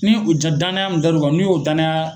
Ni u ja danaya mun daru kan n'u y'o danaya